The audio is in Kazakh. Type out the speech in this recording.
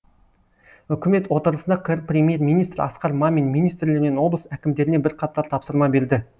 үкімет отырысында қр премьер министрі асқар мамин министрлер мен облыс әкімдеріне бірқатар тапсырма берді